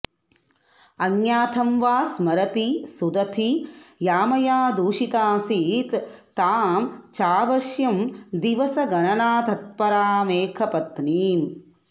अज्ञातं वा स्मरति सुदती यामयादूषिताऽऽसीत् तां चाऽवश्यं दिवसगणनातत्परामेकपत्नीम्